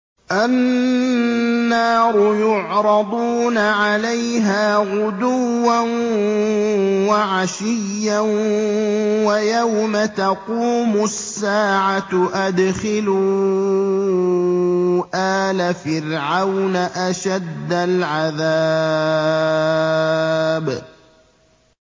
النَّارُ يُعْرَضُونَ عَلَيْهَا غُدُوًّا وَعَشِيًّا ۖ وَيَوْمَ تَقُومُ السَّاعَةُ أَدْخِلُوا آلَ فِرْعَوْنَ أَشَدَّ الْعَذَابِ